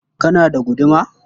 Kana da guduma?